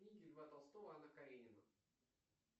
книги льва толстого анна каренина